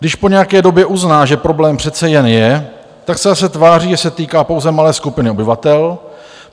Když po nějaké době uzná, že problém přece jen je, tak se zase tváří, že se týká pouze malé skupiny obyvatel.